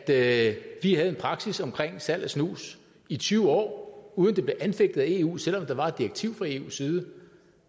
at vi havde en praksis omkring salg af snus i tyve år uden det blev anfægtet af eu selv om der var et direktiv fra eus side et